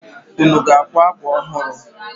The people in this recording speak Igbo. Unu ga-akwa akwa ọhụrụ?